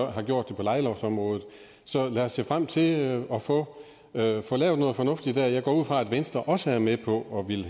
har gjort det på lejelovsområde så lad os se frem til at få lavet få lavet noget fornuftigt der jeg går ud fra at venstre også er med på